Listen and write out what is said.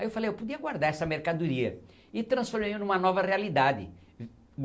Aí eu falei, eu podia guardar essa mercadoria e transfor em uma nova realidade.